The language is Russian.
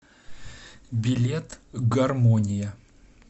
билет гармония